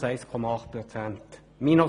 Sie hat -1,8 Prozent betragen.